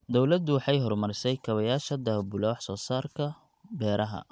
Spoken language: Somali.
Dawladdu waxay horumarisay kaabayaasha daabula wax soo saarka beeraha.